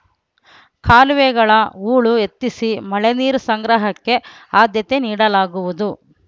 ಕಾಲುವೆಗಳ ಹೂಳು ಎತ್ತಿಸಿ ಮಳೆ ನೀರು ಸಂಗ್ರಹಕ್ಕೆ ಆದ್ಯತೆ ನೀಡಲಾಗುವುದು